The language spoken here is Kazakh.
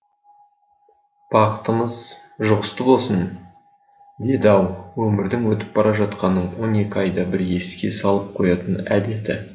бақытымыз жұғысты болсын деді ау өмірдің өтіп бара жатқанын он екі айда бір еске салып қоятын әдеті